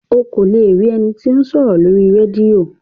O kò le rí ení tí o sòrò Lórí rédíò